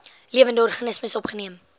lewende organismes opgeneem